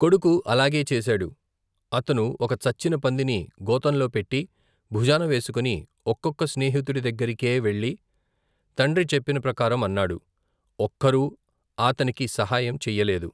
కొడుకు అలాగే చేశాడు. అతను ఒక చచ్చిన పందిని గోతంలో పెట్టి భుజానవేసుకుని ఒక్కొక్క స్నేహితుడి దగ్గరికే వెళ్ళి తండ్రి చెప్పిన ప్రకారం అన్నాడు. ఒక్కరూ ఆతనికి సహాయం చేయ్యలేదు.